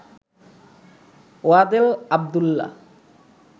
Wadel Abdullah